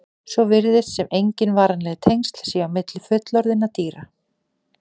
Svo virðist sem engin varanleg tengsl séu á milli fullorðinna dýra.